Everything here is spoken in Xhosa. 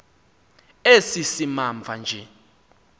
esi simamva nje